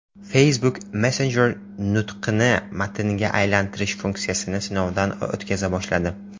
Facebook Messenger nutqni matnga aylantirish funksiyasini sinovdan o‘tkaza boshladi.